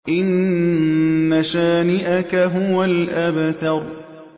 إِنَّ شَانِئَكَ هُوَ الْأَبْتَرُ